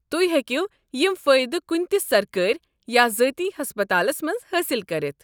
تُہۍ ہیٚکو یم فٲیدٕ کُنہِ تہِ سرکٲرۍ یا ذٲتی ہسپتالس منٛز حٲصل کٔرتھ۔